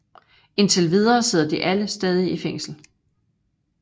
Indtil videre sidder de alle stadig i fængsel